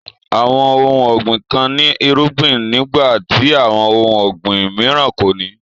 Awọn ọ̀hun ọ̀gbin kàn ní èrùgbìn nígbà t'awọn ọ̀hun ọ̀gbin m̀ìràn kòní.